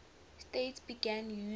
states began using